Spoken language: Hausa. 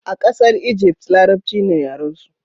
a kasar Ijift, larabci ne yaren su